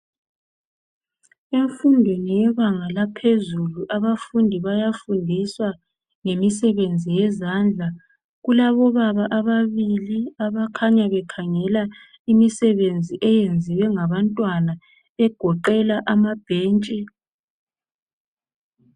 Emfundweni yebanga laphezulu abafundi bayafundiswa ngemisebenzi yezandla. Kulabobaba ababili abakhanya bekhangela imisebenzi eyenziwe ngabantwana egoqela amabhentshi.